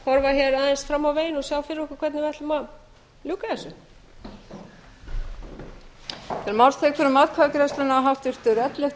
horfa hér aðeins fram á veginn og sjá fyrir okkur hvernig við ætlum að ljúka þessu